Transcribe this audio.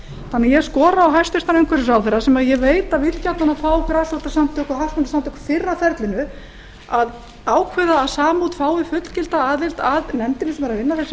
þannig að ég skora á hæstvirtur umhverfisráðherra sem ég veit að vill gjarnan fá grasrótarsamtök og hagsmunasamtök fyrr að ferlinu að ákveða að samút fái fullgilda aðild að nefndinni sem er að vinna við þessi